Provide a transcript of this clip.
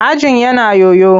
Ajin yana yoyo.